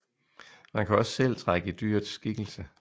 Man kan også selv trække i dyrets skikkelse